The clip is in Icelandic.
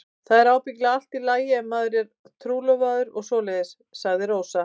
Það er ábyggilega allt í lagi ef maður er trúlofaður og svoleiðis, sagði Rósa.